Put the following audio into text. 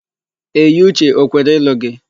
Eyiuche o kwere ịlụ gị?